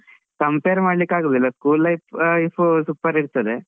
Compare ಮಾಡ್ಲಿಕ್ಕೆ ಆಗುದಿಲ್ಲ, school life super ಇರ್ತದೆ.